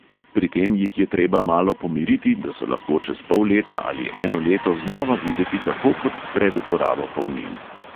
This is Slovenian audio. Pri tem jih je treba malo pomiriti, da so lahko čez pol leta ali eno leto znova videti tako kot pred uporabo polnil.